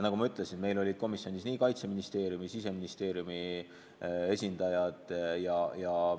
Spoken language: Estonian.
Nagu ma ütlesin, komisjonis olid nii Kaitseministeeriumi kui ka Siseministeeriumi esindajad.